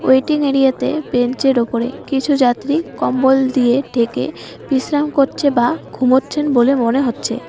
Waiting এরিয়াতে বেঞ্চের ওপরে কিছু যাত্রী কম্বল দিয়ে ঢেকে বিশ্রাম করছে বা ঘুমাচ্ছেন বলে মনে হচ্ছে।